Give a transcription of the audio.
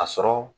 A sɔrɔ